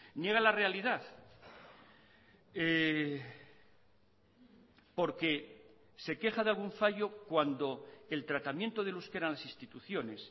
niega la realidad porque se queja de algún fallo cuando el tratamiento del euskera en las instituciones